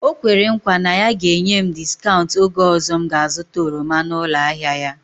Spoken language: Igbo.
O kwere nkwa na ya ga-enye m discaụnt oge ọzọ m ga azụta oroma n'ụlọ ahịa ya